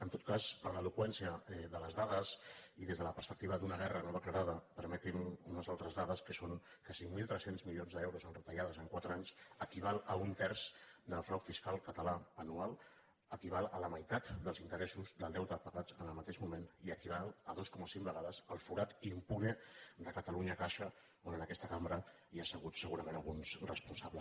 en tot cas per l’eloqüència de les dades i des de la perspectiva d’una guerra no declarada permeti’m unes altres dades que són que cinc mil tres cents milions d’euros en retallades en quatre anys equivalen a un terç del frau fiscal català anual equivalen a la meitat dels interessos del deute pagats en el mateix moment i equivalen a dos coma cinc vegades el forat impune de catalunya caixa de què en aquesta cambra hi ha asseguts segurament alguns responsables